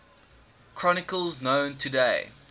chronicles known today